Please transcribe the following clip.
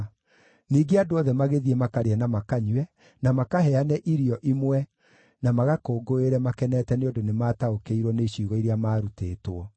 Ningĩ andũ othe magĩthiĩ makarĩe na makanyue, na makaheane irio imwe, na magakũngũĩre makenete nĩ ũndũ nĩmataũkĩirwo nĩ ciugo iria maarutĩtwo.